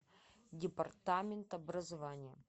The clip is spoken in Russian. департамент образования